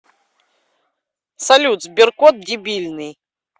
салют сберкот дебильный